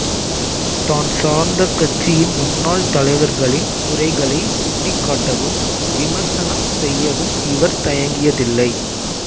தான் சார்ந்த கட்சியின் முன்னாள் தலைவர்களின் குறைகளை சுட்டிக்காட்டவும் விமர்சனம் செய்யவும் இவர் தயங்கியதில்லை